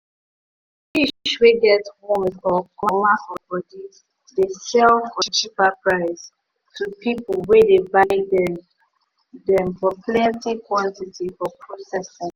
fish wey get wound or comma for body dey sell for cheaper price to people wey dey buy them them for plenty quantity for prcessing.